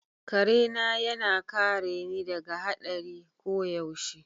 Kare na yana kare ni daga hadari koyaushe.